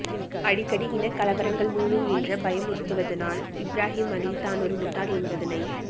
அடிக்கடி இனக்கலவரங்கள் மூளும் என்று பயமுறுத்துவதனால் இப்ராஹிம் அலி தான் ஒரு முட்டாள் என்னபதனை